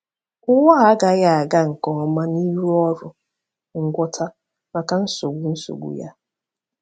Ụwa a agaghị aga nke ọma n’ịrụ ọrụ ngwọta maka nsogbu nsogbu ya.